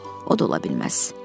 Yox, o da ola bilməz.